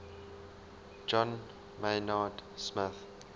john maynard smith